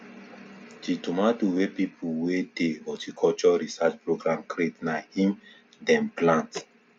the tomato wey people wey dey horticulture research program create na im dem plant